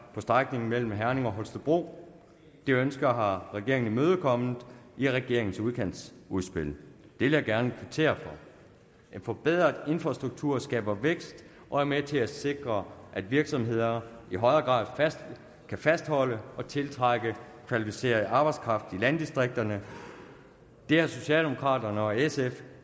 på strækningen mellem herning og holstebro det ønske har regeringen imødekommet i regeringens udkantsudspil det vil jeg gerne kvittere for en forbedret infrastruktur skaber vækst og er med til at sikre at virksomheder i højere grad kan fastholde og tiltrække kvalificeret arbejdskraft i landdistrikterne det har socialdemokraterne og sf